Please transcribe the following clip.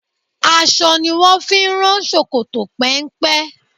Aṣọ ni wón fi ń rán ṣòkòtò péńpé.